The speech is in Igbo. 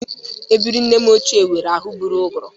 Ebiri nne m ochie nwụrụ anwụ bụrụ ụgụrụ